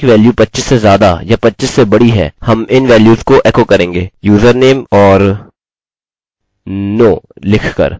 अब मैंने यह करने का निश्चय किया है check password length क्योंकि मैं इसके लिए एक विशेष जाँच चाहता हूँ